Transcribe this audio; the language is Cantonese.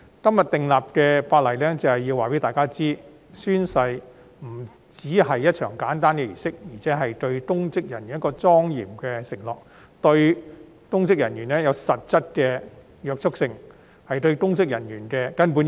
今天訂立的《條例草案》就是要告訴大家，宣誓不單是一場簡單的儀式，亦是公職人員作出的莊嚴承諾，對公職人員具實質的約束力，亦是對公職人員的根本要求。